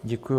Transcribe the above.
Děkuji.